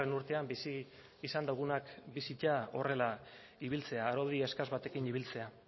urtean bizi izan dugunak bizitzea horrela ibiltzea araudi eskas batekin ibiltzea